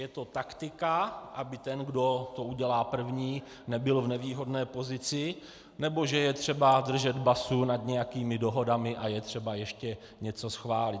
Je to taktika, aby ten, kdo to udělá první, nebyl v nevýhodné pozici, nebo že je třeba držet basu nad nějakými dohodami a je třeba ještě něco schválit.